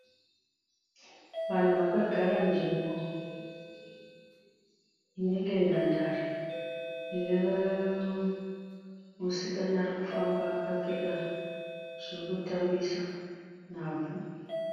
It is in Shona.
Vanhu vakagara nzvimbo inenge nhandare. Ine musikana ari kufamba akapfeka zvokutambisa nhabvu.